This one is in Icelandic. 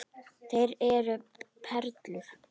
Þeir eru perlur.